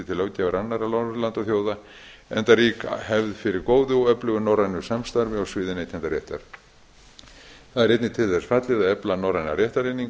löggjafar annarra norðurlandaþjóða enda rík hefð fyrir góðu og öflugu norrænu samstarfi á sviði neytendaréttar það er einnig til þess fallið að efla norræna réttareiningu